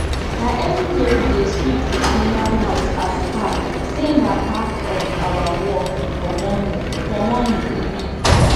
na everyday we dey sweep the animal houseas per say na part of our work for morning for morning e be